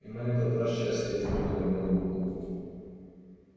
и на этот раз счастье изменило белому клыку